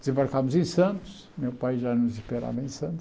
Desembarcamos em Santos, meu pai já nos esperava em Santos,